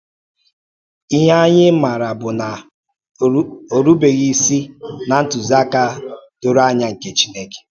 Ihe anyị maara bụ na ọ rùbeghị isi ná ntùziaka doro anya nke Chineke.